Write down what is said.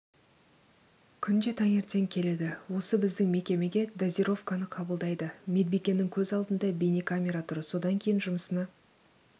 күнде таңертең келеді осы біздің мекемеге дозировканы қабылдайды медбикенің көз алдында бейнекамера тұр содан кейін жұмысына